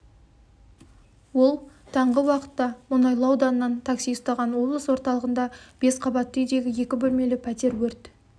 ол таңғы уақытта мұнайлы ауданынан такси ұстаған облыс орталығында бес қабатты үйдегі екі бөлмелі пәтер өрт